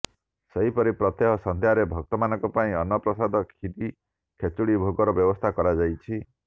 ସେହିପରି ପ୍ରତ୍ୟହ ସନ୍ଧ୍ୟାରେ ଭକ୍ତ ମାନଙ୍କ ପାଇଁ ଅନ୍ନ ପ୍ରସାଦ କ୍ଷୀରୀ ଖେଚୁଡି ଭୋଗର ବ୍ୟବସ୍ଥା କରାଯାଇଛି